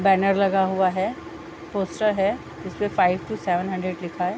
Banner लगा हुआ है पोस्टर है जिसपे फाइव टू सेवन हंड्रेड लिखा है।